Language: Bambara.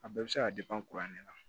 A bɛɛ bɛ se ka kuran ne la